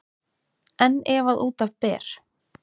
En ef að út af ber